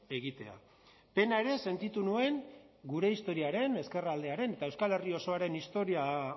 egitea pena ere sentitu nuen gure historiaren ezkerraldearen eta euskal herri osoaren historia